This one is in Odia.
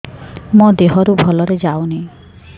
ମୋ ଦିହରୁ ଭଲରେ ଯାଉନି